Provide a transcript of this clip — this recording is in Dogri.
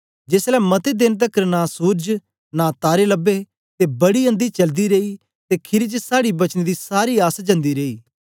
जेसलै मते देन तकर नां सूरज नां तारे लबे ते बड़ी अंधी चलदी रेई ते खीरी च साड़ी बचने दी सारी आस जंदी रेई